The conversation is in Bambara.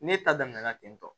Ne ta daminɛna ten tɔ